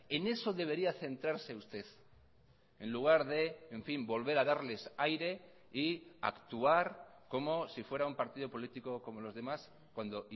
en eso debería centrarse usted en lugar de en fin volver a darles aire y actuar como si fuera un partido político como los demás cuando